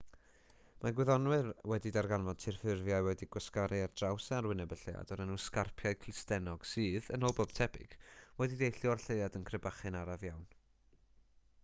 mae gwyddonwyr wedi darganfod tirffurfiau wedi'u gwasgaru ar draws arwyneb y lleuad o'r enw sgarpiau clustennog sydd yn ôl pob tebyg wedi deillio o'r lleuad yn crebachu'n araf iawn